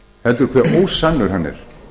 heldur hvað ósannur hann er